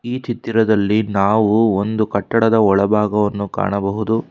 ಈ ಚಿತ್ತಿರದಲ್ಲಿ ನಾವು ಒಂದು ಕಟ್ಟಡದ ಒಳಭಾಗವನ್ನು ಕಾಣಬಹುದು.